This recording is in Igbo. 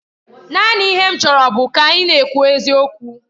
Naanị ihe m chọrọ bụ ka ị na-ekwu eziokwu.